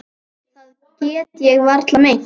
Það get ég varla meint.